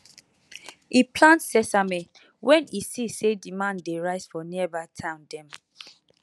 e plant sesame when e see say demand dey rise for nearby town dem